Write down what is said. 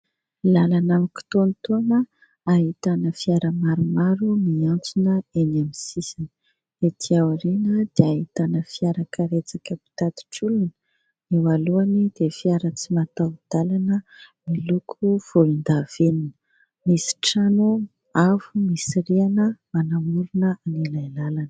Lalana mikitaontaona ahitana fiara maromaro miantsona eny amin'ny sisiny. Ety aoriana dia ahitana fiarakaretsaka mpitatitra olona, eo alohany dia fiara tsy mataho-dalana miloko volondavenona. Misy trano avo misy rihana manamorona ilay lalana.